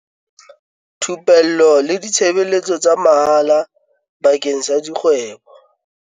Thupello le ditshebeletso tsa mahala bakeng sa dikgwebo